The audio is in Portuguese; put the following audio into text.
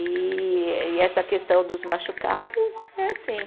E eh e essa questão dos machucados é assim.